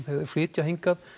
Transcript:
flytja hingað